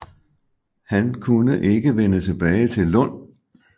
Han kunne ikke vende tilbage til Lund